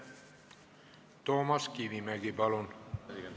Toomas Kivimägi, palun!